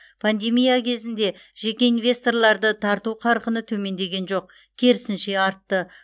пандемия кезінде жеке инвесторларды тарту қарқыны төмендеген жоқ керісінше артты